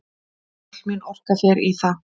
Öll mín orka fer í það.